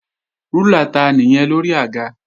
Rúlà ta nìyẹn lórí àga?